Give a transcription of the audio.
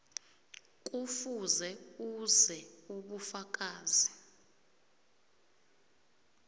kufuze uveze ubufakazi